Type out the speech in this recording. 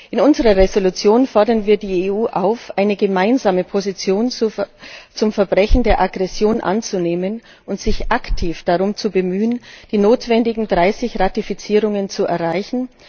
In unserer Entschließung fordern wir die EU auf, eine gemeinsame Position zum Verbrechen der Aggression anzunehmen und sich aktiv darum zu bemühen, die notwendigen 30 Ratifizierungen zu erreichen.